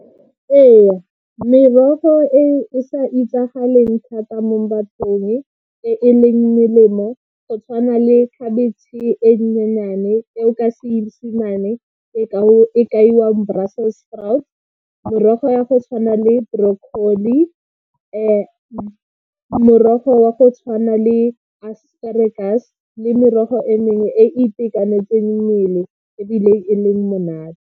Ee merogo e o sa itsagaleng thata mo bathong e e leng melemo, go tshwana le khabetšhe e nyenyane e o ka seesemane e kaiwang brussels sprout, merogo ya go tshwana le brocolli, morogo wa go tshwana le asparagus le merogo e mengwe e e itekanetseng mmele ebile e le monate.